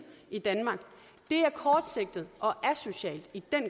i danmark det er kortsigtet og asocialt i den